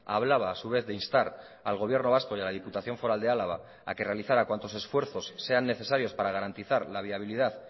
hablaba a su vez de instar al gobierno vasco y a la diputación foral de álava a que realizara cuantos esfuerzos sean necesarios para garantizar la viabilidad